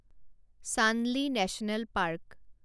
Chandoli national park